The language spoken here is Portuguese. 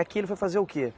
Aqui ele foi fazer o quê?